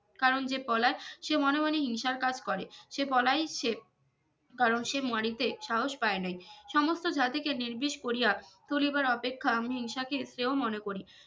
কারন যে পলায় সে মনেমনে হিংসার কাজ করে সে পলাইছে কারন সে মরিতে সাহস পায় নাই সমস্ত জাতি কে নির্বিষ করিয়া তুলিবার অপেক্ষা আমি হিংসাকে শ্রেয় মনে করি